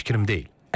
Mənim fikrim deyil.